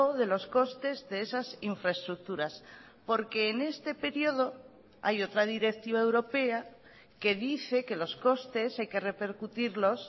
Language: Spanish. de los costes de esas infraestructuras porque en este periodo hay otra directiva europea que dice que los costes hay que repercutirlos